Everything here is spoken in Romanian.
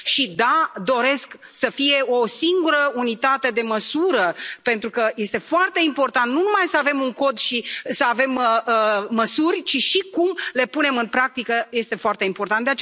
Și da, doresc să fie o singură unitate de măsură, pentru că este foarte important nu numai să avem un Cod și să avem măsuri, ci și cum le punem în practică este foarte important.